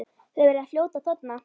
Þau verða fljót að þorna.